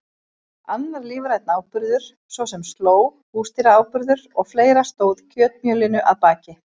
Annar lífrænn áburður, svo sem slóg, húsdýraáburður og fleira stóð kjötmjölinu að baki.